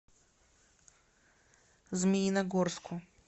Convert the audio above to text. змеиногорску